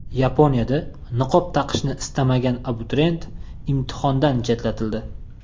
Yaponiyada niqob taqishni istamagan abituriyent imtihondan chetlatildi.